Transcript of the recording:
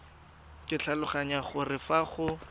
ke tlhaloganya gore fa go